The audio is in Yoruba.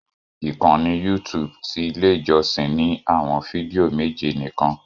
Ikanni YouTube ti ile ijọsin ni awọn fidio meje nikan